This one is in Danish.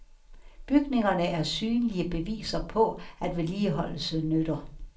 Bygningerne er synlige beviser på, at vedligeholdelse nytter.